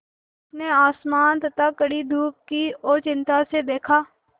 उसने आसमान तथा कड़ी धूप की ओर चिंता से देखा